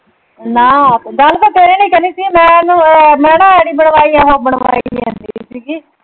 ਨਾ ਆਪਾਂ ਗੱਲ ਤਾਂ ਤੇਰੇ ਨਾਲ ਈ ਕਰਨੀ ਸੀ। ਮੈਂ ਉਹਨੂੰ ਅਹ ਮੈਂ ਨਾ ਆਈ ਡੀ ਬਣਵਾਈ ਆ ਹੁਣ . ਜਾਂਦੀ ਸੀਗੀ।